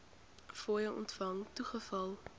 fooie ontvang toegeval